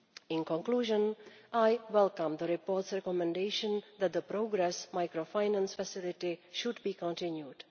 In conclusion, I welcome the report's recommendation that the Progress Microfinance Facility should be continued.